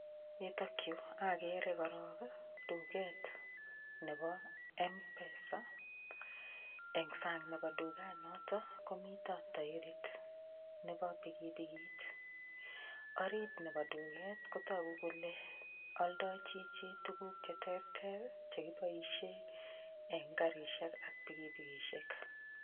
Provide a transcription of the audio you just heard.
Yutokyu agere korok duket nebo mpesa eng' sang' nebo dukanoto komito toirit nebo pikipikit orit nebo duket kotoku kole oldoi chichi tukuk cheterter chekiboishe eng' karishek ak pikipikishek